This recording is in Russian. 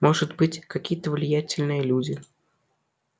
может быть какие-то влиятельные люди